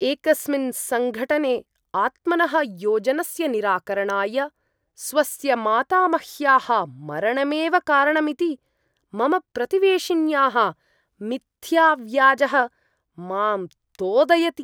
एकस्मिन् सङ्घटने आत्मनः योजनस्य निराकरणाय स्वस्य मातामह्याः मरणमेव कारणमिति मम प्रतिवेशिन्याः मिथ्याव्याजः माम् तोदयति।